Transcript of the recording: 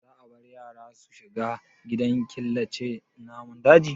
Za a bar yara su shiga gidan killace namun dajin?